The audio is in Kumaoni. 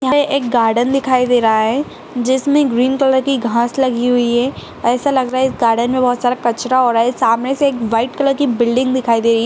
यहाँ पे एक गार्डन दिखाई दे रहा है जिसमें ग्रीन कलर की घास लगी हुई है ऐसा लग रहा है इस गार्डेन मे बहोत सारा कचरा हो रहा है सामने से एक व्हाइट कलर की बिल्डिंग दिखाई दे रही है।